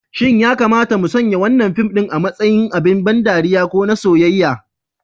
Shin ya kamata mu sanya wannan fim ɗin a matsayin abin ban ɗariya ko na soyayya?